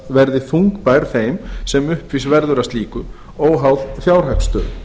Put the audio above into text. verði þungbær þeim sem uppvís verður að slíku óháð fjárhagsstöðu